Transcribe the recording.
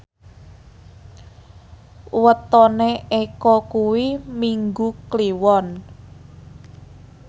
wetone Eko kuwi Minggu Kliwon